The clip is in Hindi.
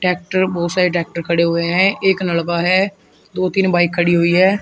ट्रैक्टर बहुत सारे ट्रैक्टर खड़े हुए हैं एक लड़का है दो तीन बाइक खड़ी है।